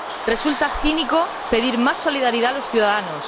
Resulta cínico pedir más solidaridad a los ciudadanos.